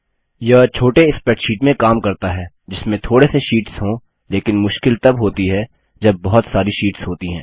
यह छोटे स्प्रैडशीट में काम करता है जिसमें थोड़े से शीट्स हों लेकिन मुश्किल तब होती है जब बहुत सारी शीट्स होती है